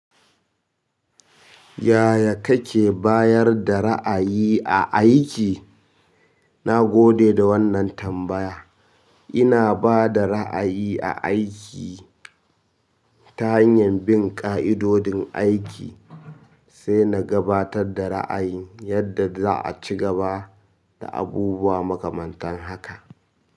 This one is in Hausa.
Yaya kake bayar da ra'ayi a aiki? Na gode da wannan tambaya. Ina bada ra'ayi a aiki ta hanyar bin ƙa'idodin aiki, sai na gabatar da ra'ayi yadda za a ci gaba da abubuwa makamantan haka.